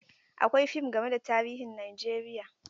Akwai fim game da tarihin Najeriya.